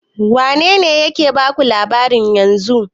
Wane ne ke baku labarin yanzun?